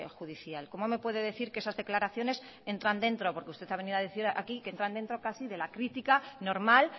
judicial cómo me puede decir que esas declaraciones entran dentro porque usted ha venido a decir aquí que entran dentro casi de la crítica normal